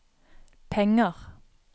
penger